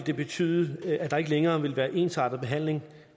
vil betyde at der ikke længere vil være ensartet behandling